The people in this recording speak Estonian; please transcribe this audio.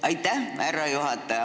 Aitäh, härra juhataja!